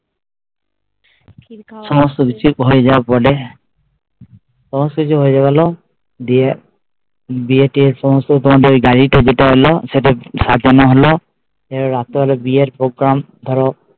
সমস্ত কিছু হয় যাওয়ার পরে সমস্ত কিছু হয় গেল গিয়ে বিয়ে টিয়ের সমস্ত তোমাদের ওই গাড়িতে যেটা হলো সাজানো হলো রাত্রে বেলা বিয়ের program ধরো